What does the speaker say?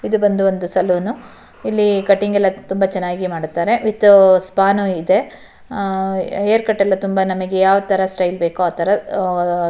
ಇದು ಬಂದು ಒಂದು ಸಲೂನ್ ಇಲ್ಲಿ ಕಟಿಂಗ್ ಎಲ್ಲ ತುಂಬಾ ಚೆನ್ನಾಗಿ ಮಾಡುತ್ತಾರೆ ವಿಥ್ ಸ್ಪಾ ನು ಇದೆ ಹೇರ್ಕಟ್ ಎಲ್ಲ ನಮಗೆ ಯಾವ್ ತರ ಸ್ಟೈಲ್ ಬೇಕೋ ಆತರ --